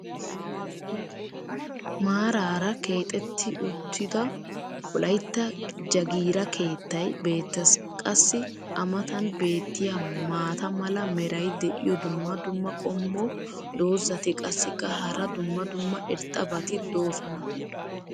maaraara keexetti uttioda wolaytta jagiira keettay beetees. qassi a matan beetiya maata mala meray diyo dumma dumma qommo dozzati qassikka hara dumma dumma irxxabati doosona.